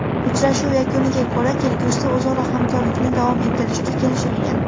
Uchrashuv yakuniga ko‘ra kelgusida o‘zaro hamkorlikni davom ettirishga kelishilgan.